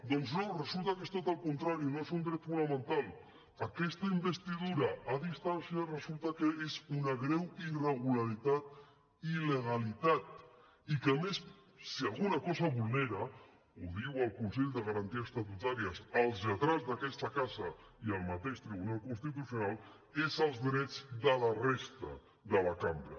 doncs no resulta que és tot el contrari no és un dret fonamental aquesta investidura a distància resulta que és una greu irregularitat i il·legalitat i que a més si alguna cosa vulnera ho diuen el consell de garanties estatutàries els lletrats d’aquesta casa i el mateix tribunal constitucional és els drets de la resta de la cambra